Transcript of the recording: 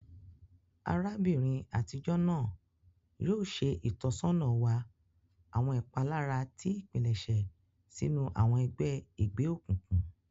Arabinrin atijọ naa yoo ṣe itọsọna wa awọn ipalara ti ipilẹṣẹ sinu awọn ẹgbẹ egbeokunkun.